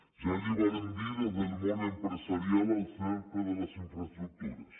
ja li vàrem dir des del món empresarial el cert de les infraestructures